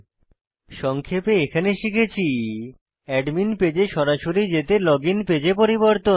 সংক্ষেপে এখানে শিখেছি অ্যাডমিন পেজে সরাসরি যেতে লগইন পেজে পরিবর্তন